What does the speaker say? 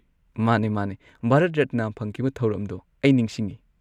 ꯃꯥꯅꯦ, ꯃꯥꯅꯦ ꯚꯥꯔꯠ ꯔꯠꯅ ꯐꯪꯈꯤꯕ ꯊꯧꯔꯝꯗꯣ ꯑꯩ ꯅꯤꯡꯁꯤꯡꯉꯤ꯫